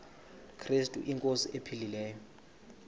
krestu inkosi ephilileyo